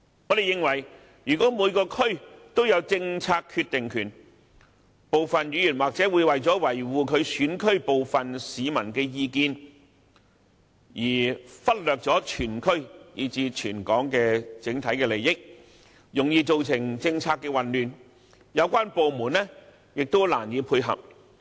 我們認為如果每個區都有政策決定權，部分議員或許會為了維護其選區部分市民的意見，而忽略全區以至全港的整體利益，容易造成政策混亂，有關部門將難以配合。